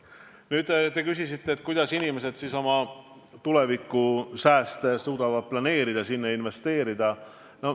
Te küsisite, kuidas inimesed suudavad oma tuleviku sääste planeerida, investeerida.